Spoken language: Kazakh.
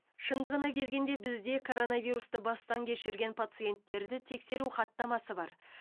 шындығына келгенде бізде коронавирусты бастан кешірген паценттерді тексеру хаттамасы бар